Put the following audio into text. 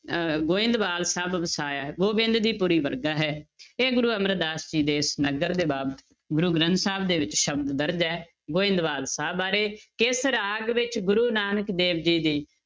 ਅਹ ਗੋਬਿੰਦਵਾਲ ਸਾਹਿਬ ਵਸਾਇਆ ਹੈ ਗੋਬਿੰਦ ਦੀ ਪੁਰੀ ਵਰਗਾ ਹੈ ਇਹ ਗੁਰੂ ਅਮਰਦਾਸ ਜੀ ਦੇ ਇਸ ਨਗਰ ਦੇ ਬਾਬਤ ਗੁਰੂ ਗ੍ਰੰਥ ਸਾਹਿਬ ਦੇ ਵਿੱਚ ਸ਼ਬਦ ਦਰਜ਼ ਹੈ, ਗੋਬਿੰਦਵਾਲ ਸਾਹਿਬ ਬਾਰੇ, ਕਿਸ ਰਾਗ ਵਿੱਚ ਗੁਰੂ ਨਾਨਕ ਦੇਵ ਜੀ ਦੀ